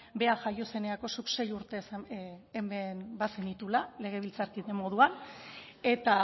bera jaio zenerako zuk sei urtez heman bazenituela legebiltzarkide moduan eta